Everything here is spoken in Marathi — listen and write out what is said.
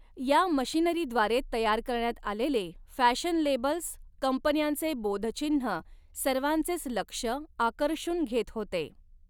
या मशिनरीद्वारे तयार करण्यात आलेले फॅशन लेबल्स, कंपन्यांचे बोधचिन्ह सर्वांचेच लक्ष आकर्षून घेत होते.